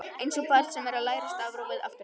Einsog barn sem er að læra stafrófið aftur á bak.